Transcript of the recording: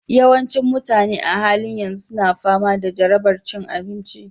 Yawancin mutane a halin yanzu suna fama da jarabar cin abinci